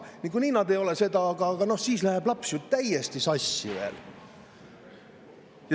Niikuinii nad ei ole seda, aga siis läheb laps ju täiesti sassi.